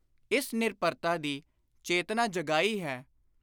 ਇਸ ਨਿਰਭਰਤਾ ਦੀ ਚੇਤਨਾ ਜਗਾਈ ਹੈ;